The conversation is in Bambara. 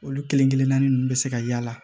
Olu kelen kelenna ninnu bɛ se ka y'a la